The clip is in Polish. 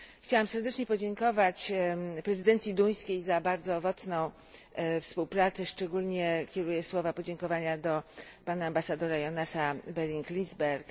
Chciałam serdecznie podziękować prezydencji duńskiej za bardzo owocną współpracę, szczególnie kieruję słowa podziękowania do pana ambasadora Jonasa Beringa Liisberga.